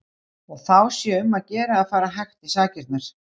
Og þá sé um að gera að fara hægt í sakirnar.